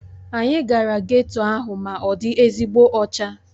Anyị gara geto ahụ ma ọ dị ezigbo ọcha